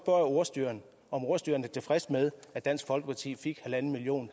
ordstyreren om ordstyreren er tilfreds med at dansk folkeparti fik en million